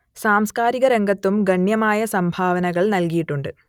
സാംസ്കാരിക രംഗത്തും ഗണ്യമായ സംഭാവനകൾ നൽകിയിട്ടുണ്ട്